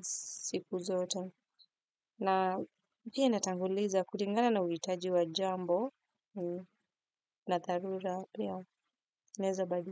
siku zote. Na pia natanguliza kulingana na uhitaji wa jambo na dharura.